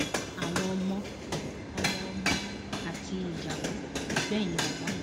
àwọn ọmọ ọmọọmọ àti ìyàwó ló gbẹyìn bàbá yìí